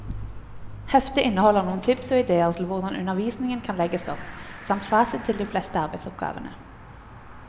Heftet inneholder noen tips og idéer til hvordan undervisningen kan legges opp, samt fasit til de fleste arbeidsoppgavene.